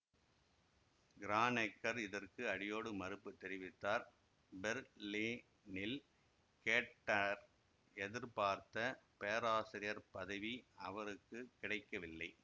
கிரானெக்கர் இதற்கு அடியோடு மறுப்பு தெரிவித்தார் பெர்லினில் கேன்ட்டர் எதிர்பார்த்த பேராசிரியர் பதவி அவருக்கு கிடைக்கவில்லை